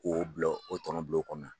K'o bila,o tɔnɔ bila o kɔnɔna na.